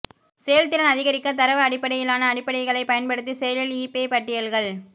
செயல்திறன் அதிகரிக்க தரவு அடிப்படையிலான அடிப்படைகளை பயன்படுத்தி செயலில் ஈபே பட்டியல்கள்